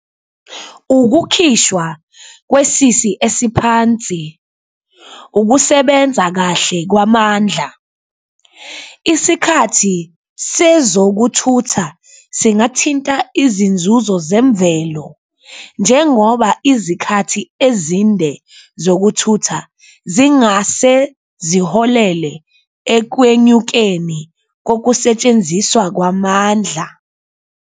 Ukukhishwa kwesisi esiphansi, ukusebenza kahle kwamandla, isikhathi sezokuthutha singathinta izinzuzo zemvelo njengoba izikhathi ezinde zokuthutha zingase ziholele ekwenyukeni kokusetshenziswa kwamandla.